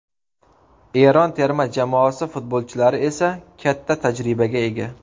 Eron terma jamoasi futbolchilari esa katta tajribaga ega.